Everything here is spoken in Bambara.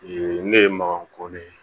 ne ye maga koden ye